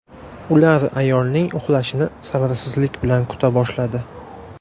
Ular ayolning uxlashini sabrsizlik bilan kuta boshladi.